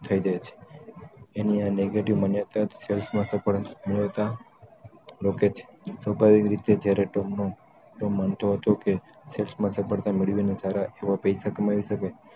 થય જાય છે એની આ negative માન્યતા સેલ્સ માં સફળતા મેળવતા રોકે છે તો કઈ રીતે ચેરેટોમ નો માણતો હતો કે સેલ્સ માં સફળતા મેળવવી સારા એવ પૈસા કમાવી શકે